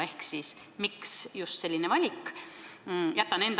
Ehk miks just selline valik?